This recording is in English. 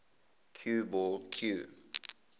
cue ball cue